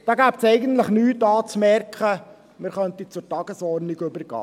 Es gäbe eigentlich nichts anzumerken, man könnte zur Tagesordnung übergehen.